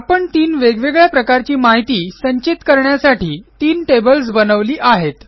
आपण तीन वेगवेगळ्या प्रकारची माहिती संचित करण्यासाठी तीन टेबल्स बनवली आहेत